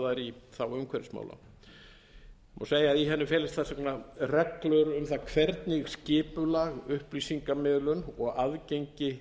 þær í þágu umhverfismála má segja að í henni felist þess vegna reglur um það hvernig skipulag upplýsingamiðlun og aðgengi